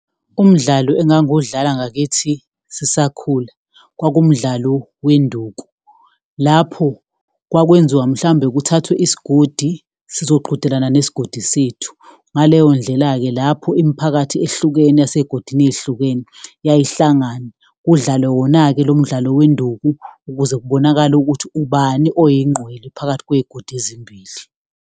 Umdlalo engangiwudlala ngakithi sisakhula, kwakuwumdlalo wenduku, lapho kwakwenziwa, mhlawumbe kuthathwe isigodi sizoqhudelana nesigodi sethu. Ngaleyo ndlela-ke, lapho imiphakathi ehlukene yasey'godini ey'hlukene yayihlangana, kudlalwe wona-ke lo mdlalo wenduku, ukuze kubonakale ukuthi ubani oyingqwele phakathi kwezigodi ezimbili.